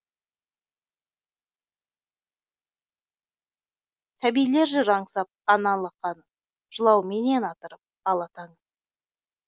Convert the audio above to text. сәбилер жүр аңсап ана алақанын жылауменен атырып ала таңын